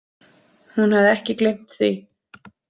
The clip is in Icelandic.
Hún hafði ekki gleymt því.